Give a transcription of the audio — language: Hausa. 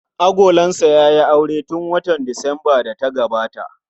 Agolansa ya yi aure tun watan Disambar da ta gabata.